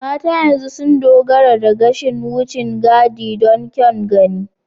Mata yanzu sun dogara da gashin wucin gadi don kyan gani.